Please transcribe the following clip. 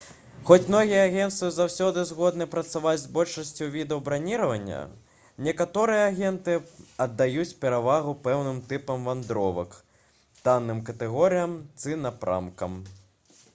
хоць многія агенцтвы заўсёды згодны працаваць з большасцю відаў браніравання некаторыя агенты аддаюць перавагу пэўным тыпам вандровак танным катэгорыям ці напрамкам